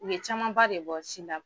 u ye camanba de bɔ sin da